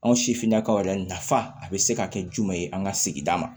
Anw sifinnakaw yɛrɛ nafa a bɛ se ka kɛ jumɛn ye an ka sigida ma